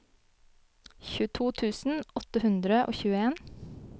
tjueto tusen åtte hundre og tjueen